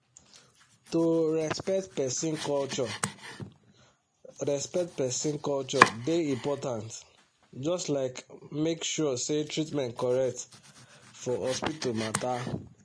to respect person culture respect person culture dey important just like make sure say treatment correct for hospital matter.